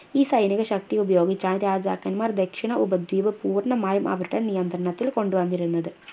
ഈ സൈനിക ശക്തി ഉപയോഗിച്ചാണ് രാജാക്കൻമാർ ദക്ഷിണ ഉപദ്വീപ് പൂർണ്ണമായും അവരുടെ നിയന്ത്രണത്തിൽ കൊണ്ടുവന്നിരുന്നത്